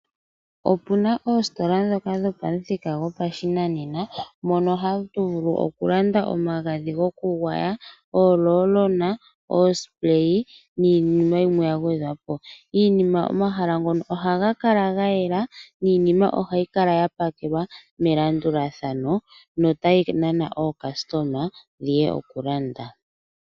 Opu na oositola ndhoka dhopamuthika gopashinanena mono hatu vulu okulanda omagadhi gokugwaya, oorolona, omagadhi gokwiishasha niinima yimwe ya gwedhwapo. Omahala ngono ohaga kala ga yela niinima ohayi kala ya pakelwa melandulathano notayi nana aalandi yeye ya lande.